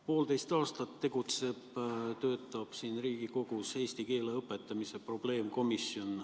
Poolteist aastat on siin Riigikogus tegutsenud eesti keele õpetamise probleemkomisjon.